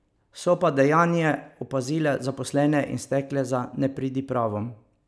So pa dejanje opazile zaposlene in stekle za nepridipravom.